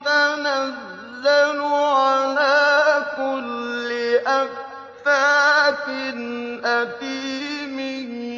تَنَزَّلُ عَلَىٰ كُلِّ أَفَّاكٍ أَثِيمٍ